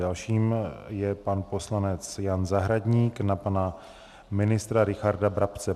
Dalším je pan poslanec Jan Zahradník na pana ministra Richarda Brabce.